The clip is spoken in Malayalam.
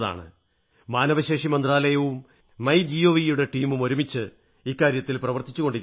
മാനവശേഷി മന്ത്രാലയവും മൈ ജിഒവി യുടെ ടീമും ഒരുമിച്ച് ഇക്കാര്യത്തിൽ പ്രവർത്തിച്ചുകൊണ്ടിരിക്കയാണ്